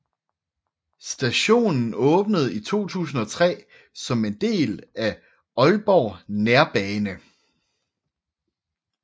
Stationen åbnede i 2003 som en del af Aalborg Nærbane